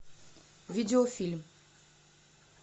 видеофильм